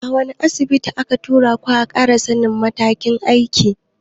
Wani Asibitin aka tura ku ƙara sannin makamin aiki?